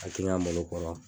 A malo kɔrɔ.